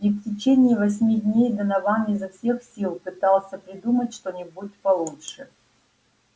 и в течение восьми дней донован изо всех сил пытался придумать что-нибудь получше